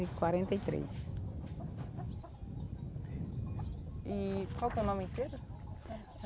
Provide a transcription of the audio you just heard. e quarenta e três. E qual que é o nome inteiro?